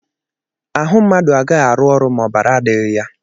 Ahụ mmadụ agaghị arụ ọrụ ma ọbara adịghị ya.